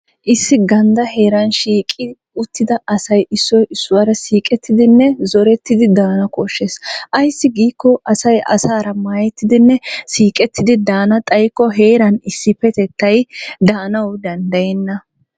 Issi gandda heeran shiiqi uttida asay issoy issuwaara siiqettidinne zorettidi daana koshshees ayssi giiko asay asaara maayetidinne siiqettidi daana xaykko heeran issipetattay daanawu danddayenna.